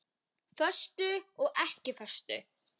Föstu og ekki föstu.